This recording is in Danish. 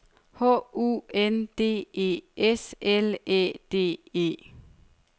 H U N D E S L Æ D E